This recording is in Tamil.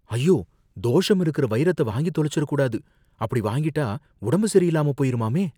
ஐயோ! தோஷம் இருக்குற வைரத்த வாங்கித் தொலைஞ்சுடக் கூடாது, அப்படி வாங்கிட்டா உடம்பு சரியில்லாமப் போயிருமாமே!